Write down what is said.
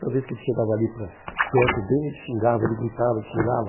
Toda vez que ele chegava ali para perto dele, ele xingava, ele gritava, ele xingava.